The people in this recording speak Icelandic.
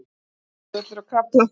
Nesjavellir og Krafla.